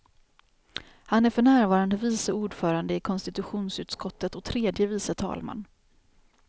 Han är för närvarande vice ordförande i konstitutionsutskottet och tredje vice talman.